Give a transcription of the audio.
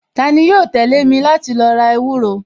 Tani yóò tẹ̀lé mi láti lo ra ewúro